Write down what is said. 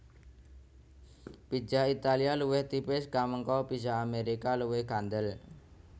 Pizza Italia luwih tipis kamangka pizza Amérika luwih kandel